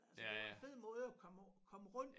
Altså det var en fed måde at komme komme rundt